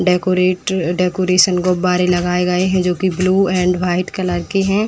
Decorate decoration गुब्बारी लगाए गए है जोकि blue and white colour colour के है।